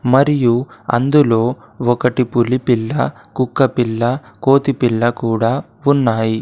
మరియు అందులో ఒకటి పులిపిల్ల కుక్కపిల్ల కోతిపిల్ల కూడా ఉన్నాయి.